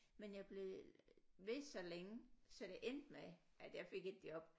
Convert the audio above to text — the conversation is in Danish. Men jeg blev ved så længe så det endte med at jeg fik et job